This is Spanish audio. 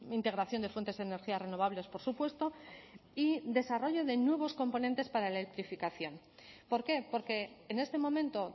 integración de fuentes de energías renovables por supuesto y desarrollo de nuevos componentes para la electrificación por qué porque en este momento